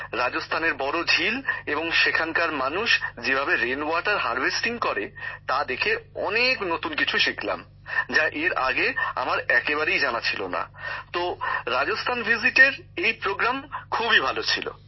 রাজস্থানের বড় ঝিল এবং সেখানকার মানুষ যেভাবে বৃষ্টির জল সঞ্চয় করে তা দেখে অনেক নতুন কিছু শিখলাম যা এর আগে আমার একেবারেই জানা ছিল না তো রাজস্থান ভ্রমণের এই আয়োজন খুবই ভালো ছিল